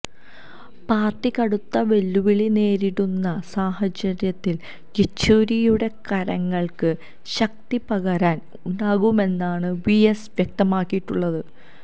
party കടുത്ത വെല്ലുവിളി നേരിടുന്ന സാഹചര്യത്തിൽ യെച്ചൂരിയുടെ കരങ്ങൾക്ക് ശക്തിപകരാൻ ഉണ്ടാകുമെന്നാണ് വി എസ് വ്യക്തമാക്കിയിട്ടുള്ളത്